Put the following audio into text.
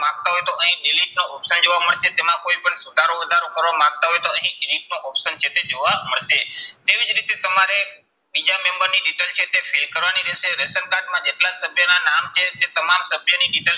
માંગતા હોય તો અહીં delete નું option જોવા મળશે. તેમાં કોઈ પણ સુધારો વધારો કરવા માંગતા હોય તો અહીં edit નો option છે તે જોવા મળશે. તેવી જ રીતે તમારે બીજા member ની detail છે તે fill કરવાની રહેશે. Ration કાર્ડમાં જેટલા સભ્યના નામ છે તે તમામ સભ્યની detail